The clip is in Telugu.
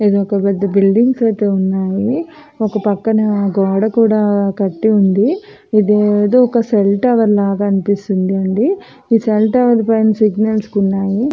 ఇక్కడ పెద్ద పెద్ద బిలిడింగ్ ఐతే ఉన్నాయి ఒక పక్కన గోడ కూడా కట్టి ఉంది. ఇది ఏదో ఒక సెల్ టవర్ అనిపిస్తుంది అండి ఈ సెల్ టవర్ పైన సిగ్నల్స్ ఉన్నాయి --